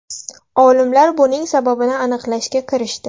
Olimlar buning sababini aniqlashga kirishdi.